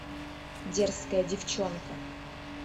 дерзкая девчонка